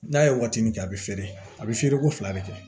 N'a ye waatinin kɛ a bɛ feere a bɛ feere ko fila de kɛ